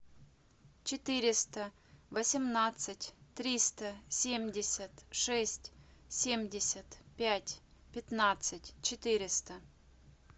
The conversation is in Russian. четыреста восемнадцать триста семьдесят шесть семьдесят пять пятнадцать четыреста